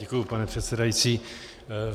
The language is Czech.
Děkuji, pane předsedající.